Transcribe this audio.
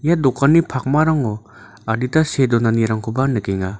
ia dokanni pakmarango adita see donanirangkoba nikenga.